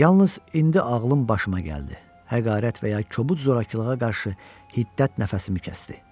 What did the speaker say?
Yalnız indi ağlım başıma gəldi, həqarət və ya kobud zorakılığa qarşı hiddət nəfəsimi kəsdi.